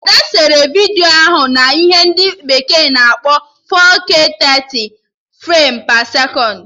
Ada sere vidiyo ahụ na ihe ndị bekee na-akpọ 4K 30 frem pe sekọnd